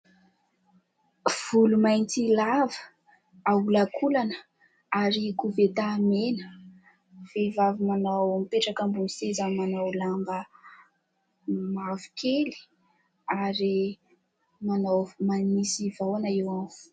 Volo mainty lava aholakolana ary koveta mena, vehivavy manao mipetraka ambony seza manao lamba mavokely ary manao manisy vahoana eo amin'ny volo.